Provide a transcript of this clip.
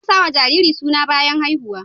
Ana sawa jariri suna bayan haihuw